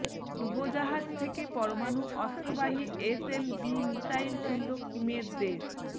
ডুবোজাহাজ থেকে পরমাণু অস্ত্রবাহী এসএলবি মিসাইল ছুঁড়ল কিমের দেশ